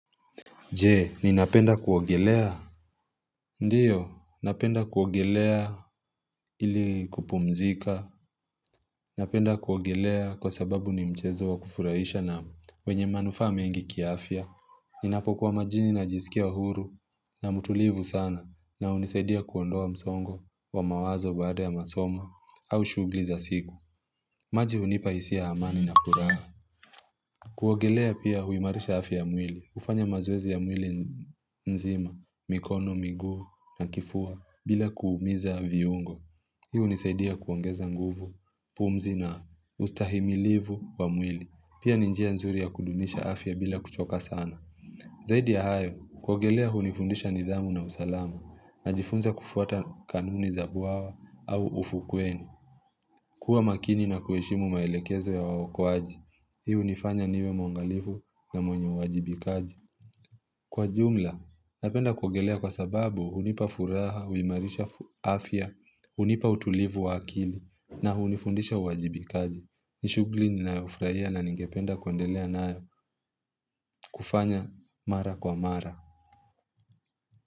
Je, ninapenda kuogelea? Ndiyo, napenda kuogelea ili kupumzika. Napenda kuogelea kwa sababu ni mchezo wa kufurahisha na wenye manufaa mengi kiafya. Ninapokuwa majini najisikia uhuru na mtulivu sana na hunisaidia kuondoa msongo wa mawazo baada ya masomo au shughuli za siku. Maji hunipa hisia ya amani na furaha. Kuogelea pia huimarisha afya ya mwili, hufanya mazoezi ya mwili nzima, mikono, miguu na kifua bila kuumiza viungo Hii hunisaidia kuongeza nguvu, pumzi na ustahimilivu wa mwili, pia ni njia nzuri ya kudumisha afya bila kuchoka sana Zaidi ya hayo, kuogelea hunifundisha nidhamu na usalama, najifunza kufuata kanuni za bwawa au ufukweni kuwa makini na kuheshimu maelekezo ya waokoaji. Hii hunifanya niwe mwangalifu na mwenye uwajibikaji. Kwa ujumla, napenda kuogelea kwa sababu hunipa furaha, huimarisha afya, hunipa utulivu wa akili na hunifundisha uwajibikaji. Ni shughuli ninayofurahia na ningependa kuendelea nayo kufanya mara kwa mara.